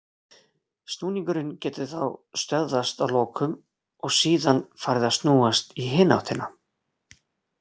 Snúningurinn getur þá stöðvast að lokum og síðan farið að snúast í hina áttina.